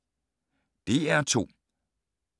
DR2